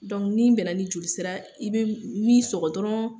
ni n bɛna ni joli sira i be min sɔgɔ dɔrɔn